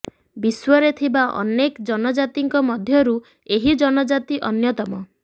ବିଶ୍ୱରେ ଥିବା ଅନେକ ଜନଜାତିଙ୍କ ମଧ୍ୟରୁ ଏହି ଜନଜାତି ଅନ୍ୟତମ